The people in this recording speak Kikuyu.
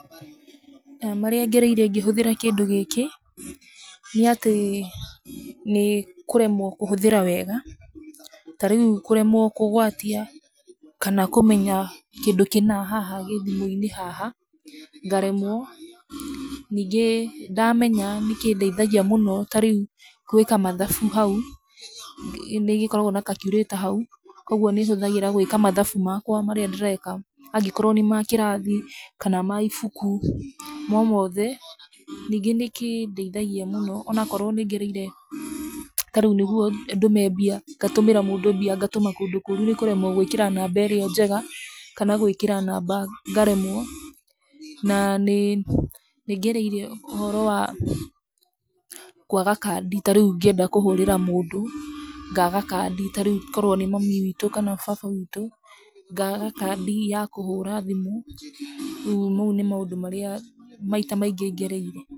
Marĩa ngereire ngĩhũthĩra kĩndũ gĩkĩ nĩ atĩ, nĩ kũremwo kũhũthĩra wega, ta rĩu kũremwo kũgwatia kana kũmenya kĩndũ kĩna kĩ haha thimũ-inĩ haha, ngaremwo, ningĩ ndamenya nĩkĩndeithagia mũno ta rĩu, gwĩka mathabu hau nĩ gĩkoragwo na calculator hau, koguo nĩ hũthagĩra gwĩka mathabu makwa rĩrĩa ndĩreka, angĩkorwo nĩ ma kĩrathi, kana ma ibuku o mothe, ningĩ nĩkĩndeithagia mũno ona korwo nĩ ngereire, ta rĩu nĩguo ndume mbia ngatũmĩra mũndũ mbia, ngatũma kũndũ kũngĩ kũru nĩ kũremwo gwĩkĩra namba ĩrĩa njega, kana gwĩkara namba ngaremwo na nĩ, nĩ ngereire ũhoro wa kwaga kandi ta rĩu ngĩenda kũhũrĩra mũndũ ngaga kandi ta rĩu, korwo nĩ mami witũ kana baba witũ, ngaga kandi ya kũhũra thimũ, rĩu mau nĩ maũndũ marĩa maita maingĩ ngereire.